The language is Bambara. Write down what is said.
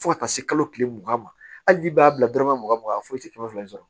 Fo ka taa se kalo kelen mugan ma hali n'i b'a bila dɔrɔmɛ mugan mugan foyi tɛ kɛmɛ fila in sɔrɔ